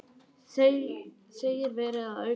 Segir verið að auka álagningu